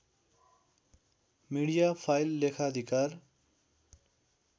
media file लेखाधिकार